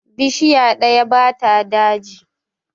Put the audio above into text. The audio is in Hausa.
Bishiya ɗaya ba ta daji